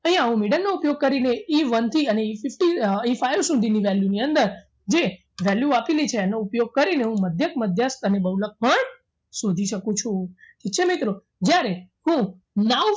અહીંયા હું middle નો ઉપયોગ કરીને Eone થી અને Efive સુધીની value ની અંદર જે value આપેલી છે એનો ઉપયોગ કરીને હું મધ્યક મધ્યસ્થ અને બહુલક પણ શોધી શકું છું ઠીક છે મિત્રો જ્યારે હું now